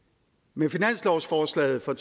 med finanslovsforslaget for